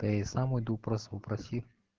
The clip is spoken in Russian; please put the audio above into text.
да я и сам уйду просто попроси